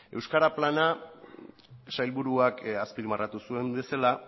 euskara plana sailburuak azpimarratu zuen bezala